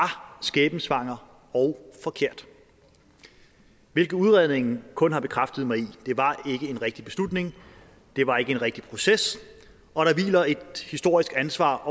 skæbnesvanger og forkert hvilket udredningen kun har bekræftet mig i det var ikke en rigtig beslutning det var ikke en rigtig proces og der hviler et historisk ansvar